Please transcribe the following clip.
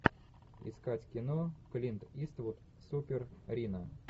искать кино клинт иствуд супер рино